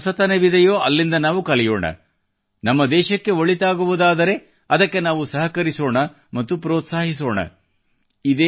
ಎಲ್ಲಿ ಹೊಸತನವಿದೆಯೋ ಅಲ್ಲಿಂದ ನಾವು ಕಲಿಯೋಣ ನಮ್ಮ ದೇಶಕ್ಕೆ ಒಳಿತಾಗುವುದಾದರೆ ಅದಕ್ಕೆ ನಾವು ಸಹಕರಿಸೋಣ ಮತ್ತು ಪ್ರೋತ್ಸಾಹಿಸೋಣ